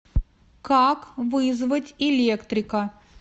как вызвать электрика